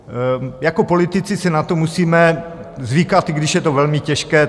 Jako politici si na to musíme zvykat, i když je to velmi těžké.